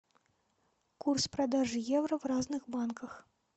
курс продажи евро в разных банках